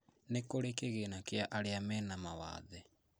Ni kũri kĩgĩna kĩa arĩa mena mawathe